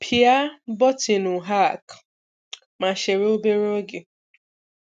Pịa botinu'Hack', ma chere obere oge.